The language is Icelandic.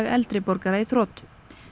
eldri borgara í þrot